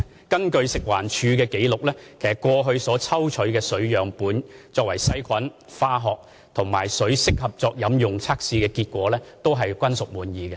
根據食環署的紀錄，過去抽取的水樣本經過細菌、化學及適合作飲用的測試，結果均屬滿意。